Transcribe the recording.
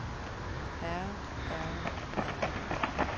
herre herre herre